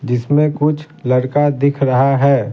जिसमें कुछ लड़का दिख रहा है।